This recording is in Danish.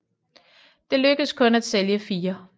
Det lykkedes kun at sælge fire